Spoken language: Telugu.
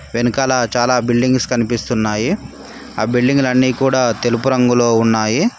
వెనకాల చాలా బిల్డింగ్స్ కనిపిస్తున్నాయి ఆ బిల్డింగ్ లు అన్ని కూడా తెలుపు రంగులో ఉన్నాయి.